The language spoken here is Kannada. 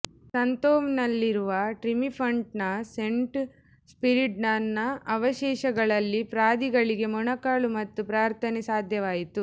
ಸಂತೋವ್ನಲ್ಲಿರುವ ಟ್ರಿಮಿಫಂಟ್ನ ಸೇಂಟ್ ಸ್ಪಿರಿಡಾನ್ನ ಅವಶೇಷಗಳಲ್ಲಿ ಪಾದ್ರಿಗಳಿಗೆ ಮೊಣಕಾಲು ಮತ್ತು ಪ್ರಾರ್ಥನೆ ಸಾಧ್ಯವಾಯಿತು